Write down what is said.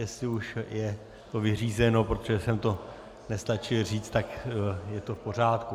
Jestli už je to vyřízeno, protože jsem to nestačil říct, tak je to v pořádku.